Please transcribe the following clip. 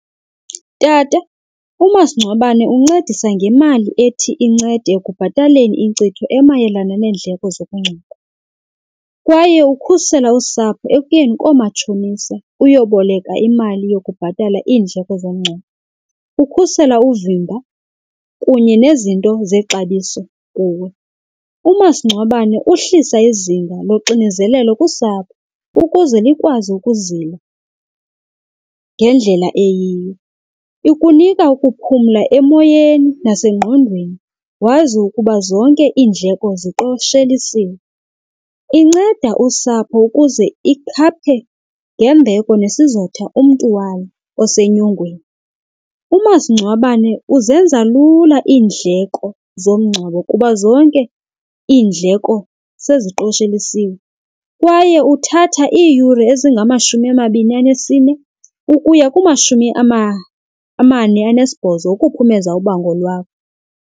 Tata, umasingcwabane uncedisa ngemali ethi incede ekubhataleni inkcitho emayelana neendleko zokungcwaba, kwaye ukhusela usapho ekuyeni koomatshonisa uyoboleka imali yokubhatala iindleko zomngcwabo. Ukhusela uvimba kunye nezinto zexabiso kuwe. Umasingcwabane uhlisa izinga loxinezelelo kusapho ukuze likwazi ukuzila ngendlela eyiyo. Ukunika ukuphumla emoyeni nasengqondweni wazi ukuba zonke indleko ziqoshelisiwe. Inceda usapho ukuze ikhaphe ngembeko nesizotha umntu walo osenyongweni. Umasingcwabane uzenza lula iindleko zomngcwabo kuba zonke iindleko seziqoshelisiwe kwaye uthatha iiyure ezingamashumi amabini anesine ukuya kumashumi amane anesibhozo ukuphumeza ubango lwakho.